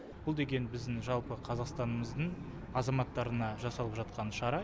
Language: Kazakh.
бұл деген біздің жалпы қазақстанымыздың азаматтарына жасалып жатқан шара